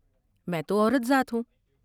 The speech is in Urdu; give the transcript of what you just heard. میں تو عورت ذات ہوں ۔